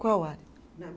Qual área? Na